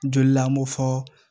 Joli la an b'o fɔ